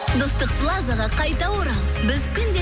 достық плазаға қайта орал біз күнде